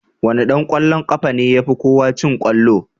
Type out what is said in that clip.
Wane dan kwallon kafa ne yafi kowa cin kwallo?